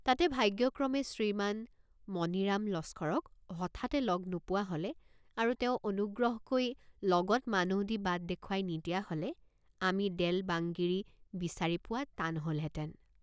তাতে ভাগ্যক্ৰমে শ্ৰীমান মণিৰাম লস্কৰক হঠাতে লগ নোপোৱা হলে আৰু তেওঁ অনুগ্ৰহকৈ লগত মানুহদি বাট দেখুৱাই নিদিয়া হলে আমি দেল্ বাংগিৰি বিচাৰি পোৱা টান হলহেঁতেন।